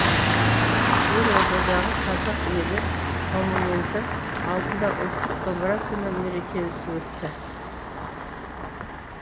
елордадағы қазақ елі монументі алдында ұлттық домбыра күні мерекесі өтті